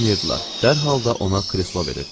Dərhal da ona kreslo verirdilər.